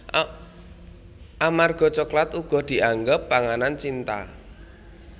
Amarga coklat uga dianggep panganan cinta